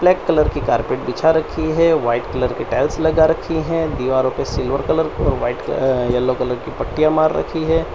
Black colour की carpet बिछा रखी है वाइट कलर के टाइल्स लगा रखी हैं दीवारों पे सिल्वर कलर और व्हाइट अह येलो कलर की पट्टियां मार रखी है।